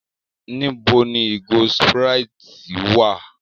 Níbo ni ìgò Sprite wá à?